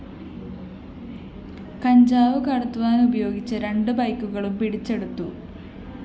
കഞ്ചാവ് കടത്തുവാനുപയോഗിച്ച രണ്ട് ബൈക്കുകളും പിടിച്ചെടുത്തു